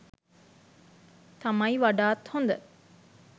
තමයි වඩාත් හොඳ.